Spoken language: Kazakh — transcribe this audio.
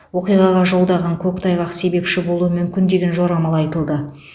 оқиғаға жолдағы көктайғақ себепші болуы мүмкін деген жорамал айтылды